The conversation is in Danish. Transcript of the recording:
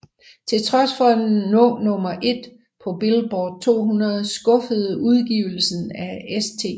Til trods for at nå nummer 1 på Billboard 200 skuffede udgivelsen af St